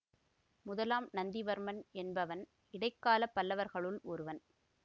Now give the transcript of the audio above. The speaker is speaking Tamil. முதலாம் நந்திவர்மன் என்பவன் இடைக்கால பல்லவர்களுள் ஒருவன்